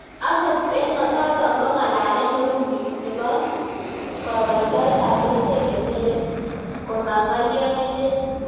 Angot eng notok ko ng'alalet neu nii nepoo kokoiteot ap kericheek chetere koma ngalio nelel